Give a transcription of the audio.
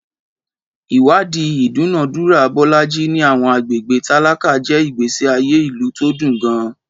Ìwádìí ìdúnàádúrà Bolaji ní àwọn agbègbè tálákà jẹ́ ìgbésí ayé ìlú tó dùn gan-an.